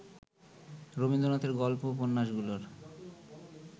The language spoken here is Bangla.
রবীন্দ্রনাথের গল্প উপন্যাসগুলোর